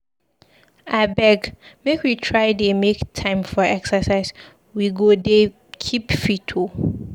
Abeg make we try dey make time for exercise, we go dey keep fit oo.